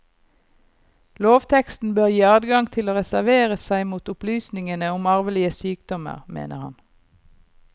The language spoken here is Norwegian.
Lovteksten bør gi adgang til å reservere seg mot opplysningene om arvelige sykdommer, mener han.